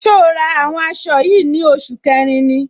So ra àwọn aṣọ yìí ní oṣù kẹrin ni?